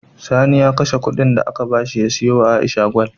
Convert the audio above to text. Sani ya kashe Ƙudin da aka bashi ya siyo wa aisha gwal